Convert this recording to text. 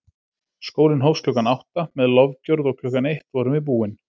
Skólinn hófst klukkan átta með lofgjörð og klukkan eitt vorum við búin.